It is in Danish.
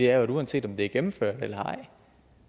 er at uanset om det er gennemført eller ej